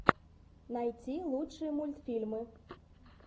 найти лучшие мультфильмы